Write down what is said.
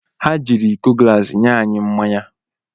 Ha jiiri iko glaasi nye anyị mmanya.